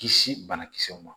Kisi banakisɛw ma